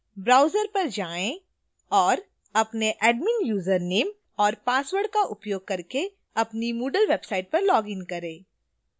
browser पर जाएँ और अपने admin username और password का उपयोग करके अपनी moodle website पर login करें